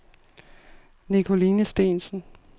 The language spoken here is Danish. Nicoline Steensen